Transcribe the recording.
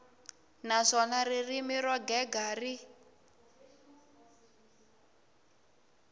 naswona ririmi ro gega ri